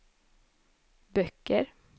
böcker